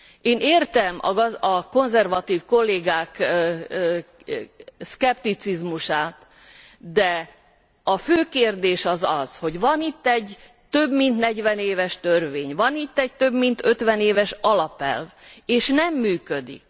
Én értem a konzervatív kollégák szkepticizmusát, de a fő kérdés az, hogy van itt egy több mint negyven éves törvény, van itt egy több mint ötven éves alapelv, és nem működik.